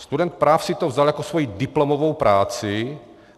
Student práv si to vzal jako svoji diplomovou práci.